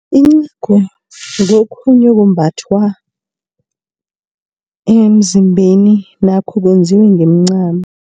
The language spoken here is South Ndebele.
Incagu ngokhunye okumbathwa emzimbeni nakho kwenziwa ngemincamo.